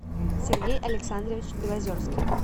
сергей александрович белозерских